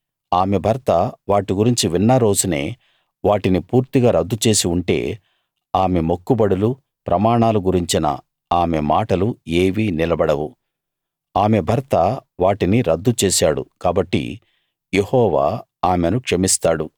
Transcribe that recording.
ఆమె భర్త వాటి గురించి విన్న రోజునే వాటిని పూర్తిగా రద్దు చేసి ఉంటే ఆమె మొక్కుబడులు ప్రమాణాలు గురించిన ఆమె మాటలు ఏవీ నిలబడవు ఆమె భర్త వాటిని రద్దుచేశాడు కాబట్టి యెహోవా ఆమెను క్షమిస్తాడు